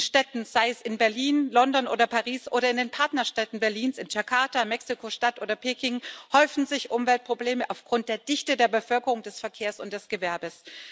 In Städten sei es in Berlin, London oder Paris oder in den Partnerstädten Berlins, in Jakarta, Mexiko Stadt oder Peking häufen sich Umweltprobleme aufgrund der Dichte der Bevölkerung, des Verkehrs und des Gewerbes.